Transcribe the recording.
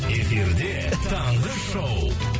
эфирде таңғы шоу